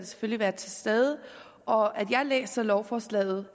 være til stede og at jeg læser lovforslaget